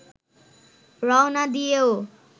রওনা দিয়েও